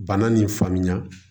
Bana nin faamuya